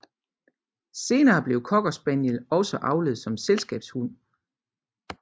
Senere blev cocker spaniel også avlet som selskabshund